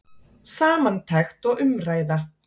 Samantekt og umræða